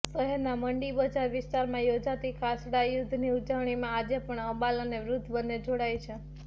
શહેરના મંડી બજાર વિસ્તારમાં યોજાતી ખાસડાયુધ્ધની ઊજવણીમાં આજે પણ અબાલ અને વૃદ્ધ બને જોડાય છે